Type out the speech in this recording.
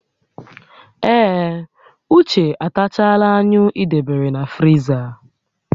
Ee, Uche atachaala anyụ ị debere na friza